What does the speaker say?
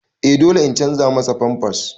Eh dole in canza masa pampers.